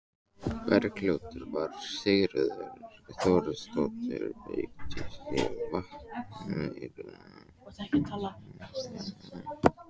Bergljótar var Sigríður Þóroddsdóttir, beykis á Vatneyri.